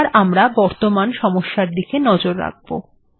এবার আমরা বর্তমান সমস্যার দিকে নজর রাখব